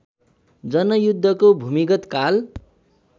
जनयुद्धको भूमिगत काल